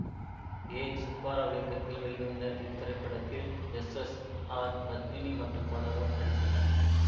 ஏ சுப்பராவ் இயக்கத்தில் வெளிவந்த இத்திரைப்படத்தில் எஸ் எஸ் ஆர் பத்மினி மற்றும் பலரும் நடித்தனர்